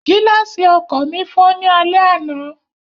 Gíláàsì ọkọ̀ mi fọ́ ní alẹ́ àná